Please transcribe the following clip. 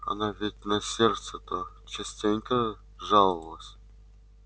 она ведь на сердце-то частенько жаловалась